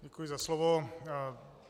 Děkuji za slovo.